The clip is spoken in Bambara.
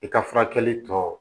I ka furakɛli tɔ